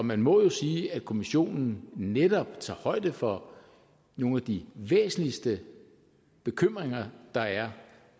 man må jo sige at kommissionen netop tager højde for nogle af de væsentligste bekymringer der er